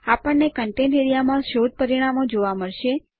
આપણને contents A R E A માં શોધ પરિણામો જોવા મળશે